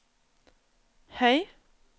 høy